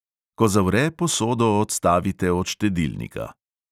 Ko zavre, posodo odstavite od štedilnika.